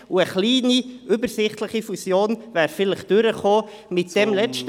Möglicherweise wäre eine kleine übersichtliche Fusion angenommen worden.